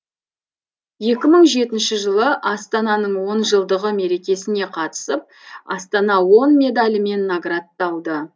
екі мың жетінші жылы астананың он жылдығы мерекесіне қатысып астана он медалімен наградталды